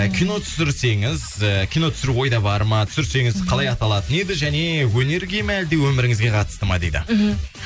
ы кино түсірсеңіз і кино түсіру ойда бар ма түсірсеңіз қалай аталатын еді және өнерге ме өміріңізге қатысты ма дейді мхм